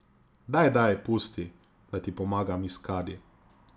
Daj, daj, pusti, da ti pomagam iz kadi.